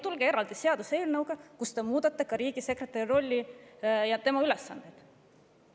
Tulge eraldi seaduseelnõuga, kus te muudate ka riigisekretäri rolli ja tema ülesandeid.